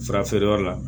Farafeereyɔrɔ la